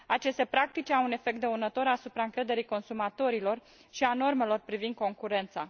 Aceste practici au un efect dăunător asupra încrederii consumatorilor și a normelor privind concurența.